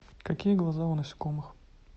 какие глаза у насекомых